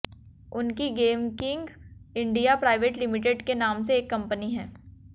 उनकी game king India private limited के नाम से एक कंपनी है